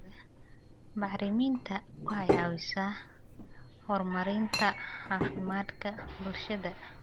Bacriminta waxay caawisaa horumarinta caafimaadka bulshada.